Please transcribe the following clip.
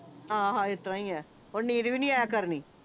ਹਾਂ ਹਾਂ ਐਦਾਂ ਹੀ ਐ ਹੁਣ ਨੀਂਦ ਵੀ ਨਹੀਂ ਆਇਆ ਕਰਨੀ